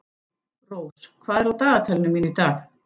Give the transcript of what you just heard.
Rós, hvað er á dagatalinu mínu í dag?